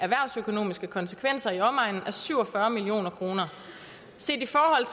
erhvervsøkonomiske konsekvenser i omegnen af syv og fyrre million kroner set i forhold